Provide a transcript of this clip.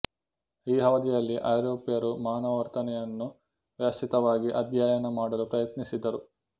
ಈ ಅವಧಿಯಲ್ಲಿ ಐರೋಪ್ಯರು ಮಾನವ ವರ್ತನೆಯನ್ನು ವ್ಯವಸ್ಥಿತವಾಗಿ ಅಧ್ಯಯನ ಮಾಡಲು ಪ್ರಯತ್ನಿಸಿದರು